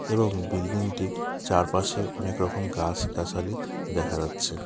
এবং বিল্ডিংটির চারপাশে অনেক রকম গাস-গাসালি দেখা যাচ্ছে .